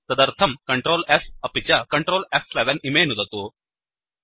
तदर्थं Ctrl S अपि च Ctrl फ्11 इमे नुदतु